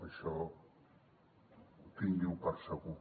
això tingui ho per segur